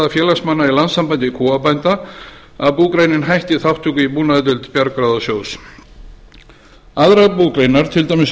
félagsmanna í landssambandi kúabænda að búgreinin hætti þátttöku í búnaðardeild bjargráðasjóðs aðrar búgreinar til dæmis